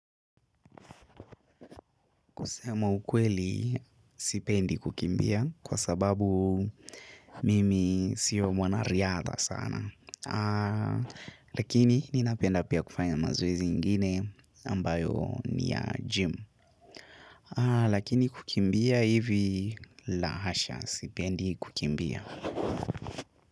Kusema ukweli, sipendi kukimbia kwa sababu mimi sio mwanariata sana. Lakini, ninapenda pia kufanya mazoezi ingine ambayo ni ya gym. Lakini kukimbia hivi la hasha, sipendi kukimbia.